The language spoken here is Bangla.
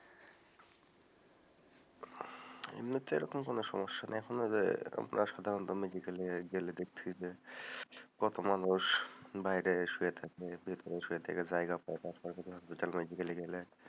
এমনিতে ওরকম কোনো সমস্যা নেই, এখন যে সাধারণ medical এ গেলে দেখছি যে কত মানুষ বাইরে শুয়ে থাকে, ভেতরে শুয়ে থাকার জায়গা পায় না medical এ গেলে,